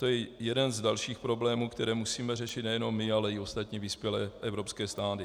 To je jeden z dalších problémů, které musíme řešit nejenom my, ale i ostatní vyspělé evropské státy.